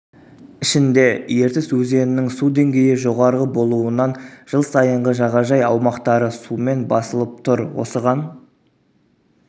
ішінде ертіс өзенінің су деңгейі жоғары болуынан жыл сайынғы жағажай аумақтары сумен басылып тұр осыған